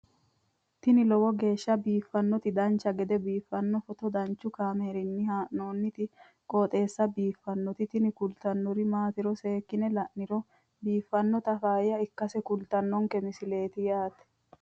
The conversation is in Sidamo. ini lowo geeshsha biiffannoti dancha gede biiffanno footo danchu kaameerinni haa'noonniti qooxeessa biiffannoti tini kultannori maatiro seekkine la'niro biiffannota faayya ikkase kultannoke misileeti yaate